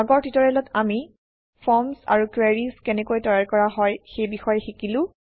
আগৰ ট্যুটৰিয়েলত আমি ফৰ্ম আৰু কুৱেৰি কেনেকৈ তৈয়াৰ কৰা হয় সেই বিষয়ে শিকিলো